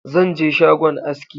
Zan je shagon aski